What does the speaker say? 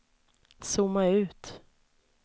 zooma ut